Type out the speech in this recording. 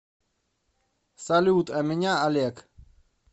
салют а меня олег